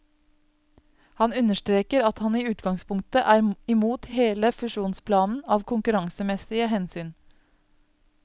Han understreker at han i utgangspunktet er imot hele fusjonsplanen av konkurransemessige hensyn.